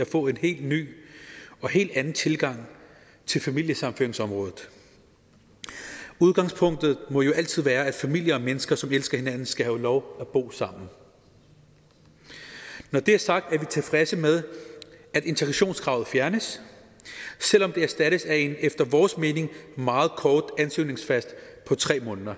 at få en helt ny og helt anden tilgang til familiesammenføringsområdet udgangspunktet må jo altid være at familier og mennesker som elsker hinanden skal have lov at bo sammen når det er sagt er vi tilfredse med at de integrationskravet fjernes selv om det erstattes af en efter vores mening meget kort ansøgningsfrist på tre måneder